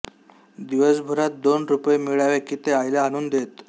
दिवसभरात दोन रुपये मिळाले की ते आईला आणून देत